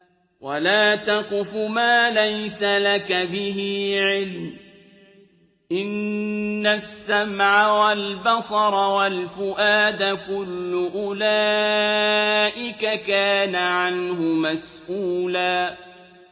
وَلَا تَقْفُ مَا لَيْسَ لَكَ بِهِ عِلْمٌ ۚ إِنَّ السَّمْعَ وَالْبَصَرَ وَالْفُؤَادَ كُلُّ أُولَٰئِكَ كَانَ عَنْهُ مَسْئُولًا